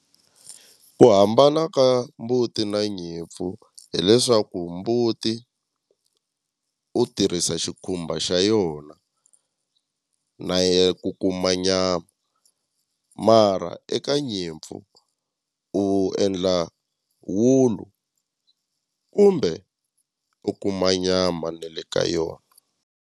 Ku hambana ka mbuti na nyimpfu hileswaku mbuti u tirhisa xikhumba xa yona na ya ku kuma nyama mara eka nyimpfu u endla wulu kumbe u kuma nyama na le ka yona.